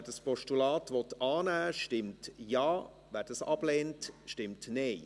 Wer das Postulat annehmen will, stimmt Ja, wer dies ablehnt, stimmt Nein.